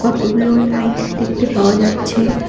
কতগুলো লাইট দেখতে পাওয়া যাচ্ছে।